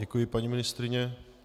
Děkuji, paní ministryně.